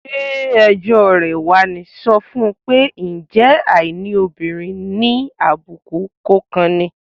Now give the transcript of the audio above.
Ṣé ẹjọ́ rẹ̀ wá ní? Sọ fún un pé, "ǹjẹ́ àìní òbìnrin ni àbùkù kò kan ni?"